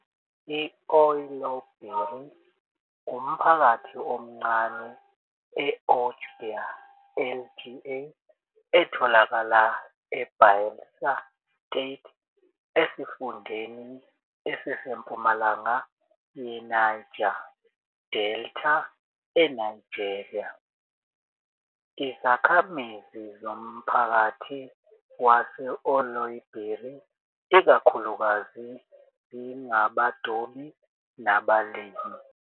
I-Oloibiri umphakathi omncane e-Ogbia LGA etholakala eBayelsa State, esifundeni esisempumalanga yeNiger Delta eNigeria. Izakhamizi zomphakathi wase-Oloibiri ikakhulukazi zingabadobi nabalimi.